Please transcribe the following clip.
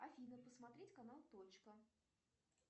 афина посмотреть канал точка